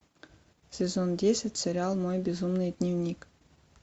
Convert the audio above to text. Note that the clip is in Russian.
сезон десять сериал мой безумный дневник